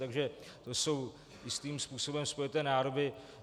Takže to jsou svým způsobem spojité nádoby.